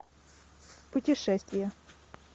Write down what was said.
путешествия